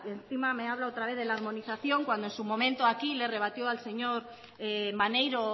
encima me habla otra vez de la armonización cuando en su momento aquí le rebatió al señor maneiro